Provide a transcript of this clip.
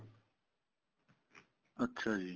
ਅੱਛਾ ਜੀ